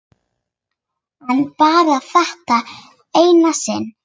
En bara þetta eina sinn.